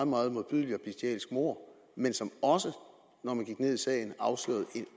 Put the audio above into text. meget modbydeligt og bestialsk mord men som også når man gik ned i sagen afslørede et